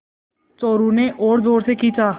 चोरु ने और ज़ोर से खींचा